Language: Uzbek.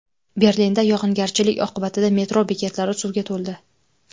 Berlinda yog‘ingarchilik oqibatida metro bekatlari suvga to‘ldi .